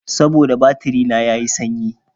Saboda batiri na ya yi sanyi.